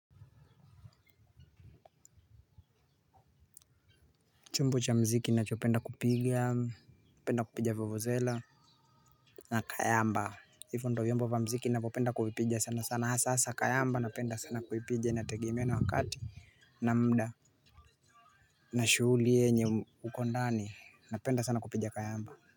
Chombo cha mziki nacho penda kupiga. Penda kupiga vuvu zela. Na kayamba. Hivo ndo vyombo wa mziki na kupenda kuvipiga sana sana hasa hasa kayamba napenda sana kuipija inategemea na wakati na muda na shuhumbi yenye uko ndaninapenda sana kupiga kayamba.